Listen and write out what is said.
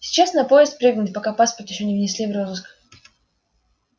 сейчас на поезд прыгнут пока паспорт ещё не внесли в розыск